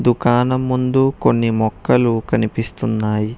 దుకాణం ముందు కొన్ని మొక్కలు కనిపిస్తున్నాయి.